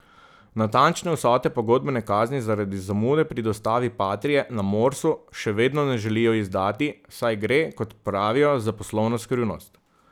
Natančne vsote pogodbene kazni zaradi zamude pri dostavi patrie na Morsu še vedno ne želijo izdati, saj gre, kot pravijo, za poslovno skrivnost.